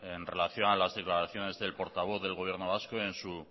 en relación a las declaraciones del portavoz del gobierno vasco en su